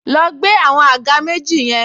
Lọ gbé àwọn àga méjì yẹn